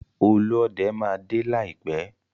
Olúọdẹ máa dé láìpẹ́.